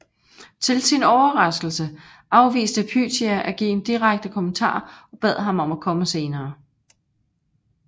Til sin overraskelse afviste Pythia at give en direkte kommentar og bad ham om at komme senere